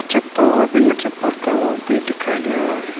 चप्पल और बिना चप्पल का लोग भी दिखाई दे रहा है।